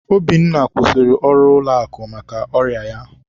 Obinna kwụsịrị ọrụ ụlọakụ maka ọrịa ya.